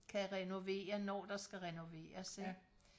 kan renovere når der skal renoveres ikke